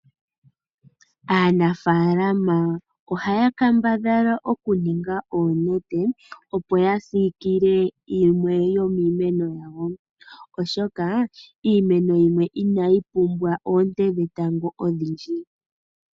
Aanafaalama ohaya kambadhala okuninga oonete opo yasiikile yimwe yomiimeno yawo, oshoka iimeno yimwe inayi pumbwa oonte dhetango ondhindji.